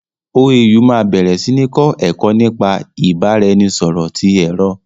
OAU máa bẹ̀rẹ̀ sí ní kọ́ ẹ̀kọ́ nípa ìbára ẹni nisọ̀rọ̀ ti èrò